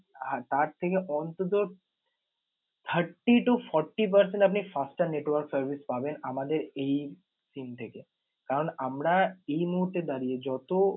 আহ তার থেকে অন্তত thirty to fourty percent আপনি faster network পাবেন আমাদের এই SIM থেকে। কারন আমরা এই মুহূর্তে দাঁড়িয়ে যত